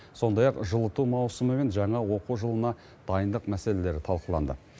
сондай ақ жылыту маусымы мен жаңа оқу жылына дайындық мәселелері талқыланды